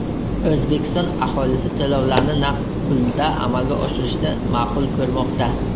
O‘zbekiston aholisi to‘lovlarni naqd pulda amalga oshirishni ma’qul ko‘rmoqda.